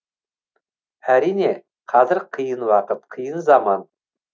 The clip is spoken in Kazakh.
әрине қазір қиын уақыт қиын заман